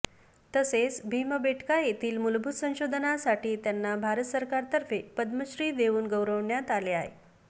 तसेच भीमबेटका येथील मूलभूत संशोधनासाठी त्यांना भारत सरकारतर्फे पद्मश्री देवून गौरविण्यात आले